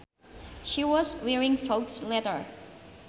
She was wearing faux leather